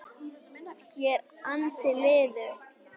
Ég er ansi liðug!